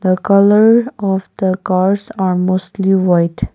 the colour of the cars are mostly white.